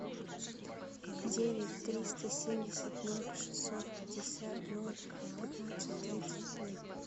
девять триста семьдесят ноль шестьсот пятьдесят ноль пятнадцать тридцать семь